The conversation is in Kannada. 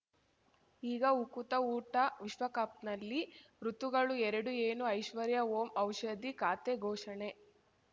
ಈಗ ಉಕುತ ಊಟ ವಿಶ್ವಕಪ್‌ನಲ್ಲಿ ಋತುಗಳು ಎರಡು ಏನು ಐಶ್ವರ್ಯಾ ಓಂ ಔಷಧಿ ಖಾತೆ ಘೋಷಣೆ